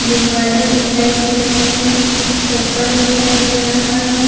गुब्बारे दिखाई दे रहे है चप्पल दिखाई दे रहा है।